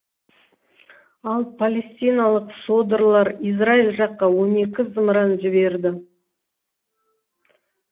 ал палестиналық содырлар израиль жаққа он екі зымыран жіберді